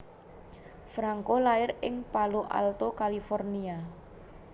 Franco lair ing Palo Alto California